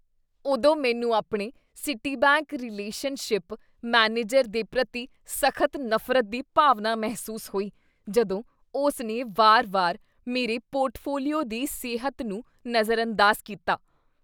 ਉਦੋਂ ਮੈਨੂੰ ਆਪਣੇ ਸਿਟੀਬੈਂਕ ਰਿਲੇਸ਼ਨਸ਼ਿਪ ਮੈਨੇਜਰ ਦੇ ਪ੍ਰਤੀ ਸਖ਼ਤ ਨਫ਼ਰਤ ਦੀ ਭਾਵਨਾ ਮਹਿਸੂਸ ਹੋਈ ਜਦੋਂ ਉਸਨੇ ਵਾਰ ਵਾਰ ਮੇਰੇ ਪੋਰਟਫੋਲੀਓ ਦੀ ਸਿਹਤ ਨੂੰ ਨਜ਼ਰਅੰਦਾਜ਼ ਕੀਤਾ